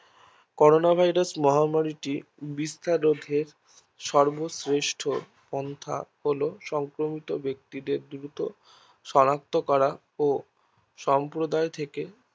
corona Virus মহামারীতে বিস্তার রোধে সর্বশ্রেষ্ঠ পন্থা হলো সংক্রমিত বেক্তিদের দ্রুত শনাক্ত করা ও সম্প্রদায় থেকে তাদের